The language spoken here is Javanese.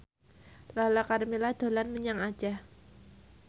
Lala Karmela dolan menyang Aceh